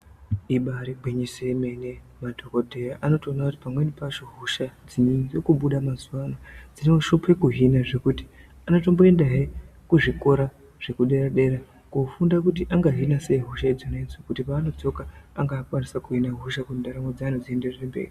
Ibairi ngwinyiso yemene madhokodheya anoto ona kuti pamweni pacho hosha dziri kubuda mazuva ano dzino shupe kuhina zvekuti anotombo enda hee ku zvikora zveku dera dera ko funda kuti anga hina sei hosha idzona dzo kuti pavano dzoka ange o kwanisa kuhina hosha kuti ndaramo dze vanhu dzi ende mberi.